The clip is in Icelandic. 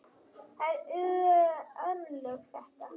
Það eru örlög þetta!